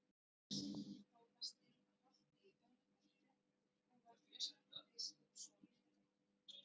Símonarsyni, prófasti að Holti í Önundarfirði, og var Brynjólfur biskup sonur þeirra.